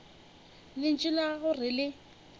lentšu la gago re le